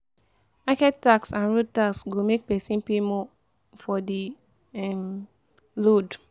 Market tax and road tax go make pesin pay more for di um load.